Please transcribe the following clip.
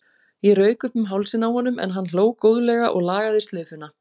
Ég rauk upp um hálsinn á honum en hann hló góðlega og lagaði slaufuna.